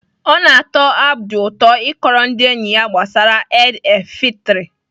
Ọ na-atọ Abdul ụtọ ịkọrọ ndị enyi ya gbasara Eid el fitri.